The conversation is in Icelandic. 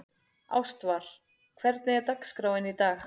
Ástvar, hvernig er dagskráin í dag?